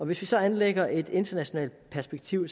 hvis vi så anlægger et internationalt perspektiv